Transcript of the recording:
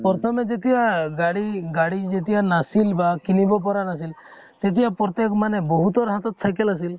প্ৰথমে যেতিয়া গাড়ী, গাড়ী যেতিয়া নাছিল বা কিনিব পৰা নাছিল । তেতিয়া প্ৰতেক মানে বহুতৰ হাতত cycle আছিল ।